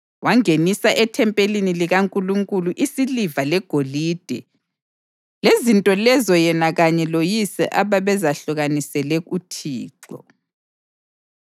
Wangenisa ethempelini likaNkulunkulu isiliva legolide lezinto lezo yena kanye loyise ababezahlukanisele uThixo.